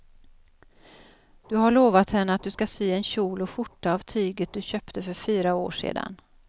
Du har lovat henne att du ska sy en kjol och skjorta av tyget du köpte för fyra år sedan.